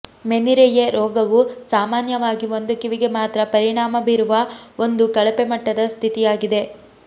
ಮೆನಿರೆಯೆ ರೋಗವು ಸಾಮಾನ್ಯವಾಗಿ ಒಂದು ಕಿವಿಗೆ ಮಾತ್ರ ಪರಿಣಾಮ ಬೀರುವ ಒಂದು ಕಳಪೆ ಮಟ್ಟದ ಸ್ಥಿತಿಯಾಗಿದೆ